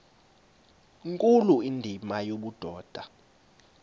nkulu indima yobudoda